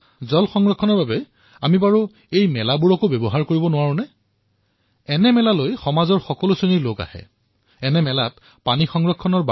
এই পৰিপ্ৰেক্ষিতত আমি এই মেলাসমূহত জল সংৰক্ষণৰ বাৰ্তা প্ৰদান কৰিব নোৱাৰোনে সমাজৰ বিভিন্ন লোক এই মেলালৈ আহে